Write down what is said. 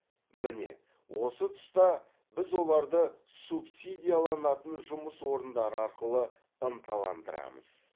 міне осы тұста біз оларды субсидияланатын жұмыс орындары арқылы ынталандырамыз